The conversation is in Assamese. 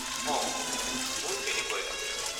অঁ, মোৰো তেনেকুৱাই লাগে।